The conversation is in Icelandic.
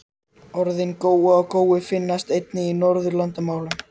Orðin góa og gói finnast einnig í Norðurlandamálum.